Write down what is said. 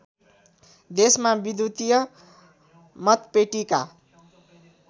देशमा विद्युतीय मतपेटिका